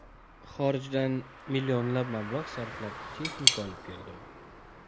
Xorijdan millionlab mablag‘ sarflab, texnika olib keldim.